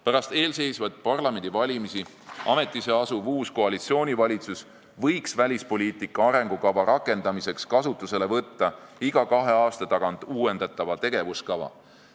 Pärast eelseisvaid parlamendivalimisi ametisse asuv uus koalitsioonivalitsus võiks välispoliitika arengukava rakendamiseks kasutusele võtta iga kahe aasta tagant uuendatava tegevuskava.